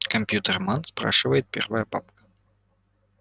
компьютерман спрашивает первая бабка